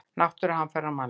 Náttúruhamfarir og mannlíf.